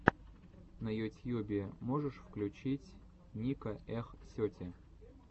на ютьюбе можешь включить ника эх сети